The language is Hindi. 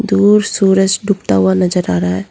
और सूरज डूबता हुआ नजर आ रहा है।